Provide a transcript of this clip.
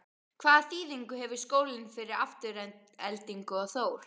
Hvaða þýðingu hefur skólinn fyrir Aftureldingu og Þór?